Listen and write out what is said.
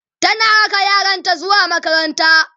tana raka yaranta zuwa makaranta